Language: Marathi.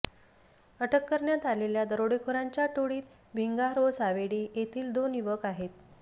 अटक करण्यात आलेल्या दरोडेखोरांच्या टोळीत भिंगार व सावेडी येथील दोन युवक आहेत